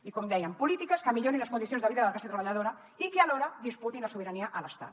i com dèiem polítiques que millorin les condicions de vida de la classe treballadora i que alhora disputin la sobirania a l’estat